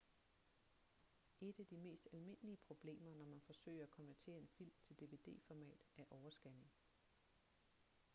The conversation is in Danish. et af de mest almindelige problemer når man forsøger at konvertere en film til dvd-format er overscanning